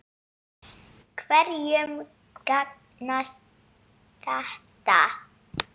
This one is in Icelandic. Hverjum gagnast þetta?